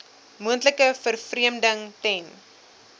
moontlike vervreemding ten